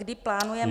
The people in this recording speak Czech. Kdy plánujete -